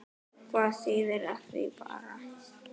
Hvað þýðir af því bara?